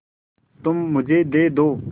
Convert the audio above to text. तुम मुझे दे दो